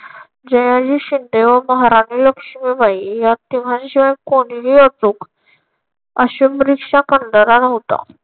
जयाजी शिंदे व महाराणी लक्ष्मीबाई या तिघांशिवाय कोणीही असो असं दृश्य करणारा नव्हता.